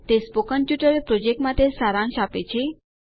તે spoken tutorial project માટે સારાંશ છે